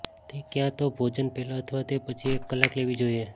તે ક્યાં તો ભોજન પહેલાં અથવા તે પછી એક કલાક લેવી જોઇએ